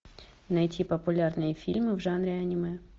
найти популярные фильмы в жанре аниме